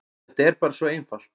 Þetta er bara svo einfalt.